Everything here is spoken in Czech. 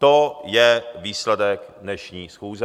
To je výsledek dnešní schůze.